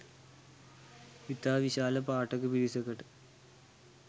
ඉතා විශාල පාඨක පිරිසකට